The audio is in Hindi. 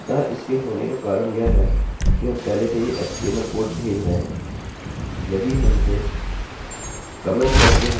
अतः इसके होने का कारण यह है कि हम पहले से ही एचटीएमएल html कोड भेज रहे हैं